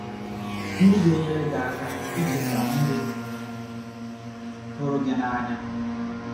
ndị ga - enyere gị aka icheta ndị hụrụ gị n’anya